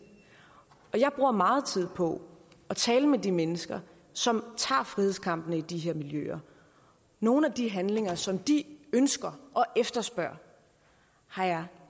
og jeg bruger meget tid på at tale med de mennesker som tager frihedskampene i de her miljøer nogle af de handlinger som de ønsker og efterspørger har jeg